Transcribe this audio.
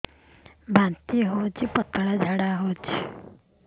ବାନ୍ତି ହଉଚି ପତଳା ଝାଡା ହଉଚି